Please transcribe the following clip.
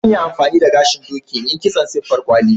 zan Yi amfani da gashin doki in yi kitson siffar kwali.